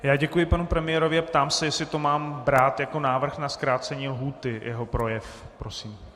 Já děkuji panu premiérovi a ptám se, jestli to mám brát jako návrh na zkrácení lhůty, jeho projev, prosím.